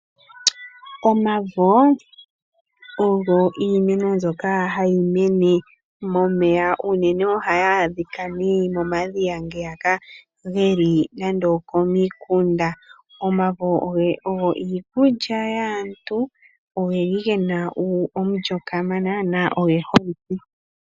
Omavo ogo iimano mbyoka hayi mene momeya unene ohayi adhika momadhiya ngeya geli komiikunda. Omavo ogo iikulya yaantu, ogeli gena omulyo kamana na ogeholike